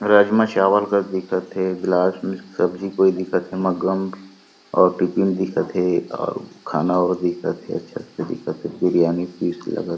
राजमा चावल कस दिखत हे गिलास में सब्जी कोई दिखत हे मग्गा म और टिफ़िन दिखत हे और खाना और दिखत हे सब्जी दिखत हे बिरयानी पीस लगत हे।